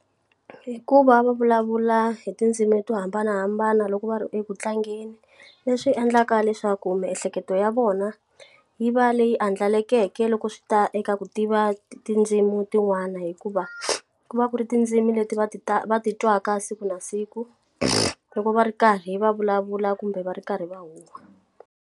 Hikuva va vulavula hi tindzimi to hambanahambana loko va ri ekutlangeni leswi endlaka leswaku miehleketo ya vona yi va leyi andlalakeke loko swi ta eka ku tiva tindzimi tin'wana hikuva ku va ku ri tindzimi leti va ti ta va ti twaka siku na siku loko va ri karhi va vulavula kumbe va ri karhi va huwa.